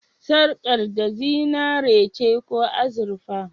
Sarƙar da zinare ce ko azurfa?